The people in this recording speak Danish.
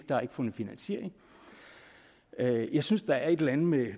der er ikke fundet finansiering jeg synes at der er et eller andet med